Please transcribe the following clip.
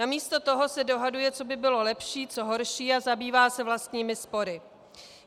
Namísto toho se dohaduje, co by bylo lepší, co horší, a zabývá se vlastními spory.